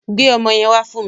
Gbe ọmọ yẹn wá fún mi